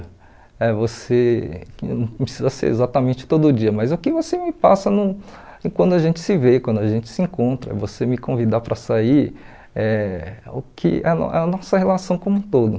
Eh você não precisa ser exatamente todo dia, mas o que você me passa no quando a gente se vê, quando a gente se encontra, você me convidar para sair, é o que é a é a nossa relação como um todo.